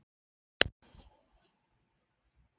Hafsteinn Hauksson: Er það ekki mjög hátt hlutfall?